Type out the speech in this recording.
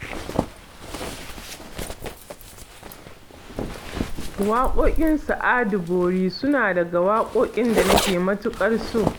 Waƙoƙin Sa'adu Bori suna daga waƙoƙin da nake matuƙar so